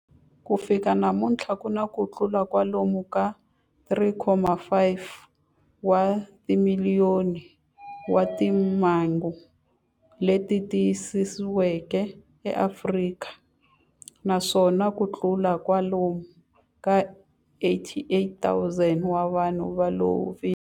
Ku fika namuntlha ku na kutlula kwalomu ka 3.5 wa timiliyoni wa timhangu leti tiyisisiweke eAfrika, naswona kutlula kwalomu ka 88,000 wa vanhu va lovile.